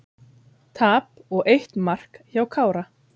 Tap og eitt mark hjá Kára